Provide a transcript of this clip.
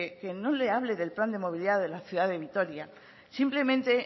que no le hable del plan de movilidad de la ciudad de vitoria simplemente